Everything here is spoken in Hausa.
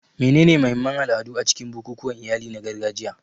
Menene mahimman al'adu a cikin bukukuwan iyali na gargajiya?